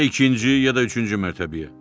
Ya ikinci, ya da üçüncü mərtəbəyə.